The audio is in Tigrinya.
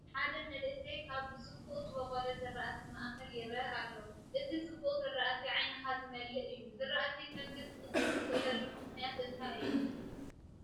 ሓደ መንእሰይ ኣብ ብፅቡቕ ዝበቖለ ዝራእቲ ማእኸል ይርአ ኣሎ፡፡ እዚ ፅቡቕ ዝራእቲ ዓይንኻ ዝመልእ እዩ፡፡ ዝራእቲ ከምዚ ክፅብቅ ዝኽእለሉ ምኽንያት እንታይ እዩ?